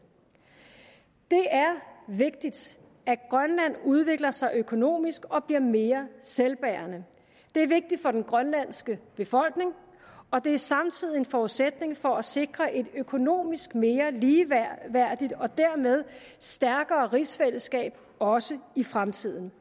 det er vigtigt at grønland udvikler sig økonomisk og bliver mere selvbærende det er vigtigt for den grønlandske befolkning og det er samtidig en forudsætning for at sikre et økonomisk mere ligeværdigt og dermed stærkere rigsfællesskab også i fremtiden